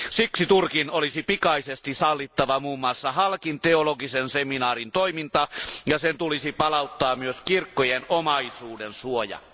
Siksi Turkin olisi pikaisesti sallittava muun muassa Halkin teologisen seminaarin toiminta ja sen tulisi palauttaa myös kirkkojen omaisuuden suoja.